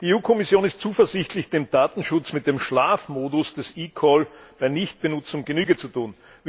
Die Kommission ist zuversichtlich, dem Datenschutz mit dem Schlafmodus des eCall bei Nichtbenutzung Genüge zu tun.